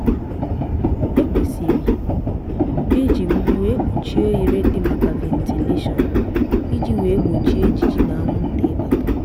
e kwesịrị iji ugbu wee mpuchie oghere di maka ventilashion iji wee gbochie ijiji na anwụnta ibata